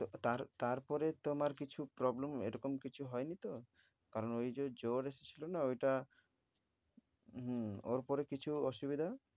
তো তার~ তারপরে তোমার কিছু problem ও এরকম কিছু হয়নি তো? কারণ ঐ যে জ্বর এসেছিল না ওটা হম ওর পরে কিছু অসুবিধা?